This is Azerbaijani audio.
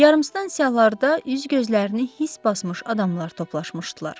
Yarımstansiyalarda üz-gözlərini hiss basmış adamlar toplaşmışdılar.